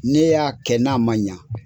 Ne y'a kɛ n'a man ɲa